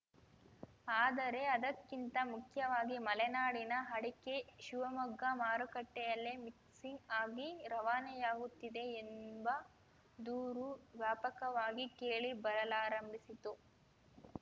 ಆದರೆ ಅದಕ್ಕಿಂತ ಮುಖ್ಯವಾಗಿ ಮಲೆನಾಡಿನ ಅಡಕೆ ಶಿವಮೊಗ್ಗ ಮಾರುಕಟ್ಟೆಯಲ್ಲಿಯೇ ಮಿಕ್ಸಿಂಗ್‌ ಆಗಿ ರವಾನೆಯಾಗುತ್ತಿದೆ ಎಂಬ ದೂರು ವ್ಯಾಪಕವಾಗಿ ಕೇಳಿ ಬರಲಾರಂಭಿಸಿತ್ತು